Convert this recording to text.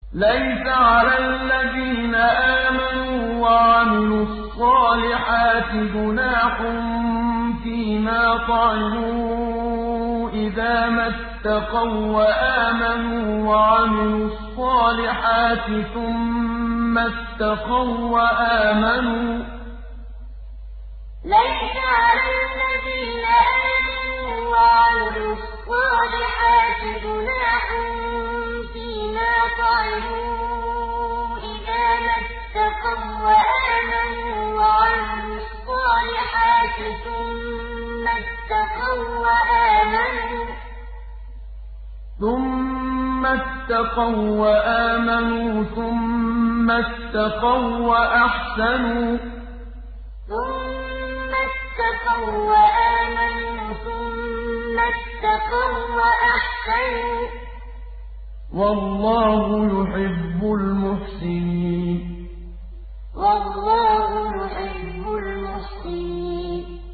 لَيْسَ عَلَى الَّذِينَ آمَنُوا وَعَمِلُوا الصَّالِحَاتِ جُنَاحٌ فِيمَا طَعِمُوا إِذَا مَا اتَّقَوا وَّآمَنُوا وَعَمِلُوا الصَّالِحَاتِ ثُمَّ اتَّقَوا وَّآمَنُوا ثُمَّ اتَّقَوا وَّأَحْسَنُوا ۗ وَاللَّهُ يُحِبُّ الْمُحْسِنِينَ لَيْسَ عَلَى الَّذِينَ آمَنُوا وَعَمِلُوا الصَّالِحَاتِ جُنَاحٌ فِيمَا طَعِمُوا إِذَا مَا اتَّقَوا وَّآمَنُوا وَعَمِلُوا الصَّالِحَاتِ ثُمَّ اتَّقَوا وَّآمَنُوا ثُمَّ اتَّقَوا وَّأَحْسَنُوا ۗ وَاللَّهُ يُحِبُّ الْمُحْسِنِينَ